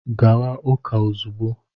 Gawa ụka ozugbo!